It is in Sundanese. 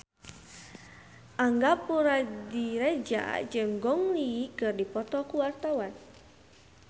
Angga Puradiredja jeung Gong Li keur dipoto ku wartawan